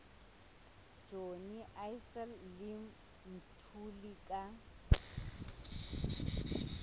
johnny issel le mthuli ka